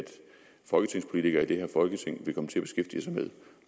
folketingspolitikere i det her folketing vil komme til at beskæftige sig med